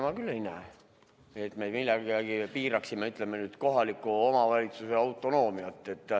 Ma küll ei näe, et me nüüd millegagi piiraksime, ütleme, kohaliku omavalitsuse autonoomiat.